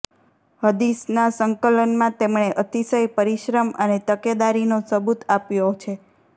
હદીસના સંકલનમાં તેમણે અતિશય પરિશ્રમ અને તકેદારીનો સબુત આપ્યો છે